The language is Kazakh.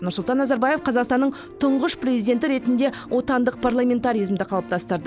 нұрсұлтан назарбаев қазақстанның тұңғыш президенті ретінде отандық парламентаризмді қалыптастырды